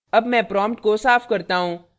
अब मैं prompt को साफ़ करता हूँ